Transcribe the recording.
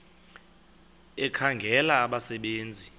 ekhangela abasebe nzi